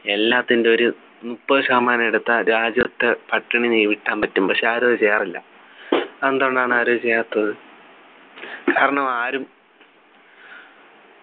എല്ലാത്തിൻ്റെ ഒരു മുപ്പതു ശതമാനം എടുത്താൽ രാജ്യത്ത് പട്ടിണിയെ വീഴ്ത്താൻ പറ്റും പക്ഷെ ആരും അത് ചെയ്യാറില്ല അതെന്തുകൊണ്ടാണ് ആരും ചെയ്യാത്തത് കാരണം ആരും